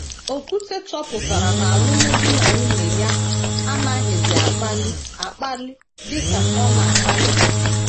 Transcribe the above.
Okwute chọpụtara na alụmdi na nwunye ya anaghịzi akpali akpali dị ka ọ na - akpalibu.